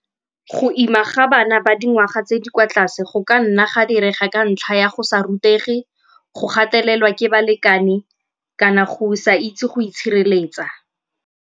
Go ima ga bana ba dingwaga tse di kwa tlase go ka nna ga dira ga ka ntlha ya go sa rutegi, go gatelela ke balekane kana go sa itse go itshireletsa.